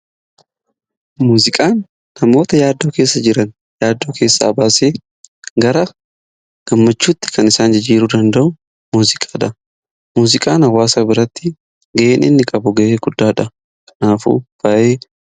Muuziqaan namoota yaaddoo keessa jiran yaaddoo keessaa baasee gara gammachuutti kan isaan jijjiiruu danda'u muuziqaadha. Muuziqaan hawwaasa biratti gaheen inni qabu gahee guddaadha kanaafuu faayidaa qaba.